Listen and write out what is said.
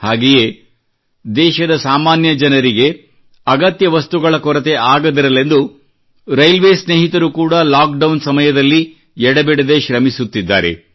ಹಾಗೆಯೇ ದೇಶದ ಸಾಮಾನ್ಯ ಜನರಿಗೆ ಅಗತ್ಯ ವಸ್ತುಗಳ ಕೊರತೆಯಾಗದಿರಲೆಂದು ರೈಲ್ವೆ ಸ್ನೇಹಿತರು ಕೂಡಾ ಲಾಕ್ಡೌನ್ ಸಮಯದಲ್ಲಿ ಎಡೆಬಿಡದೇ ಶ್ರಮಿಸುತ್ತಿದ್ದಾರೆ